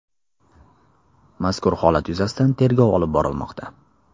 Mazkur holat yuzasidan tergov olib borilmoqda.